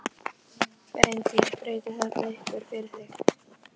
Björn: Haf, hafðirðu verið kölluð fram að því?